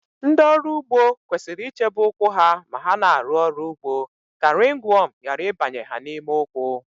Ndị ọrụ ugbo kwesịrị ichebe ụkwụ ha ma ha na-arụ ọrụ ugbo ka rịngwọm ghara ịbanye ha n'ime ụkwụ